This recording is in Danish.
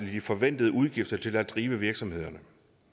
de forventede udgifter til at drive virksomhederne